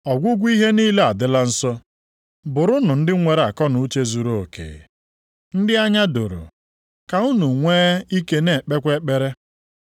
Ọgwụgwụ ihe niile adịla nso. Bụrụnụ ndị nwere akọnuche zuruoke, ndị anya doro, ka unu nwee ike na-ekpekwa ekpere.